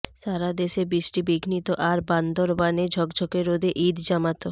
সারা দেশে বৃষ্টিবিঘ্নিত আর বান্দরবানে ঝকঝকে রোদে ঈদ জামাত